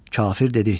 Kafir dedi: